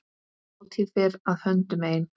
Hátíð fer að höndum ein.